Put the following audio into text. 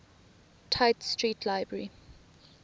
tite street library